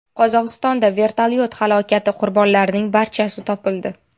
Qozog‘istonda vertolyot halokati qurbonlarining barchasi topildi.